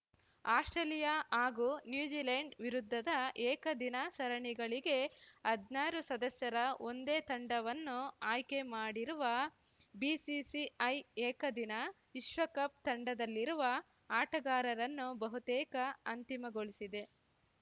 Australia ಹಾಗೂ New Zealand ವಿರುದ್ಧದ ಏಕದಿನ ಸರಣಿಗಳಿಗೆ ಹದ್ನಾರು ಸದಸ್ಯರ ಒಂದೇ ತಂಡವನ್ನು ಆಯ್ಕೆ ಮಾಡಿರುವ ಬಿಸಿಸಿಐ ಏಕದಿನ ವಿಶ್ವಕಪ್‌ ತಂಡದಲ್ಲಿರುವ ಆಟಗಾರರನ್ನು ಬಹುತೇಕ ಅಂತಿಮಗೊಳಿಸಿದೆ